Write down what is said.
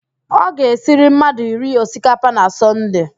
Ọ ga-esiri mmadụ iri osikapa na Sọnde